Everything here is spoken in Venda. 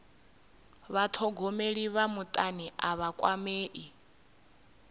vhathogomeli vha mutani a vha kwamei